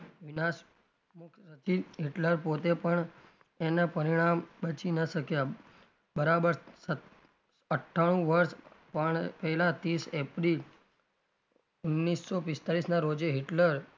વિનાશ હિટલર પોતે પણ એનાં પરિણામ બચી ના શકયા બરાબર અઠાણું વર્ષ પણ પહેલાં ત્રીશ એપ્રિલ ઓગણીસો પિસ્તાલીસના રોજે હિટલર,